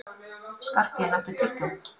Skarphéðinn, áttu tyggjó?